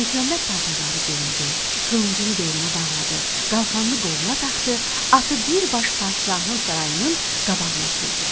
Məlikməmməd paltarları geyindi, qılıncını belinə bağladı, qalxanını qoluna taxdı, atı bir baş padşahın sarayının qabağına sürdü.